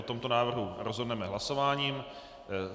O tomto návrhu rozhodneme hlasováním.